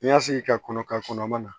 N'i y'a sigi ka kɔnɔ ka kɔnɔ ma na